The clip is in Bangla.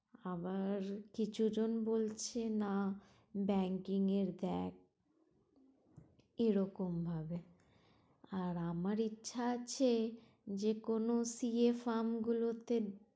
আবার কিছু জন বলছে না banking এর দেখ এরকম ভাবে আমার ইচ্ছা আছে, যেকোনো সি এ গুলো তে